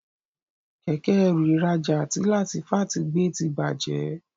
Kẹ̀kẹ́-ẹrù ìrajà tí Latifat gbé tí bàjé.